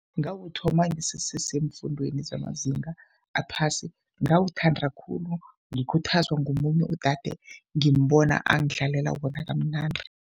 Ngawuthoma ngiseseseemfundweni zamazinga aphasi, ngawuthanda khulu ngikhuthazwa ngomunye udade ngimbona angidlalela wona kamnandi.